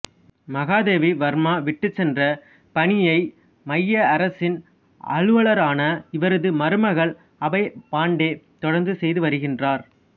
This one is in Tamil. மகாதேவி வா்மா விட்டுச் சென்ற பணியை மைய அரசின் அலுவலரான இவரது மருமகள் அபா பாண்டே தொடா்ந்து செய்து வருகின்றாா்